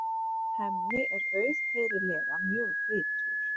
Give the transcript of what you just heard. Hemmi er auðheyrilega mjög bitur.